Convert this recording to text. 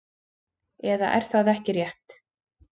Eða er það ekki rétt?